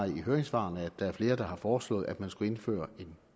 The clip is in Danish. i høringssvarene at der er flere der har foreslået at man skulle indføre en